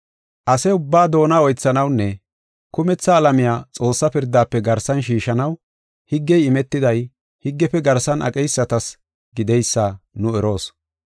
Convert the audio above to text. Ase ubbaa doona oythanawunne kumetha alamiya Xoossaa pirdaafe garsan shiishanaw, higgey imetiday higgefe garsan aqeysatas gideysa nu eroos.